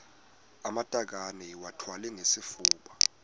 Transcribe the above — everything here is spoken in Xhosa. amatakane iwathwale ngesifuba